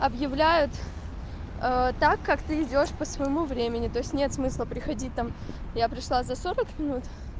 объявляют так как ты идёшь по своему времени то есть нет смысла приходить там я пришла за сорок минут